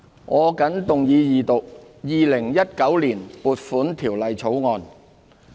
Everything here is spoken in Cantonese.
我謹動議二讀《2019年撥款條例草案》。